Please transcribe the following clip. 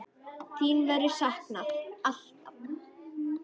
Þín verður saknað, alltaf.